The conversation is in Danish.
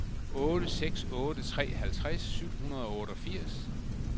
otte seks otte tre halvtreds syv hundrede og otteogfirs